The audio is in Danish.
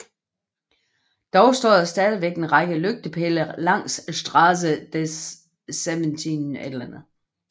Dog står der stadig en række lygtepæle langs Straße des 17